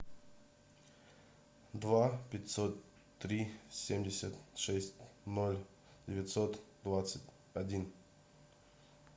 два пятьсот три семьдесят шесть ноль девятьсот двадцать один